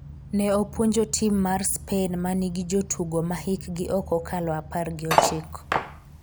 ne opuonjo tim mar Spain ma nigi jotugo ma hikgi ok okalo apar gi ochiko